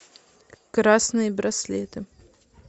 красные браслеты